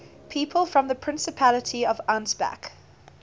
people from the principality of ansbach